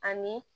Ani